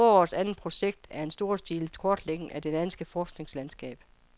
Forårets andet store projekt er en storstilet kortlægning af det danske forskningslandskab.